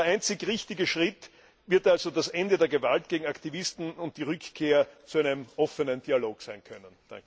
Der einzig richtige Schritt wird also das Ende der Gewalt gegen Aktivisten und die Rückkehr zu einem offenen Dialog sein können.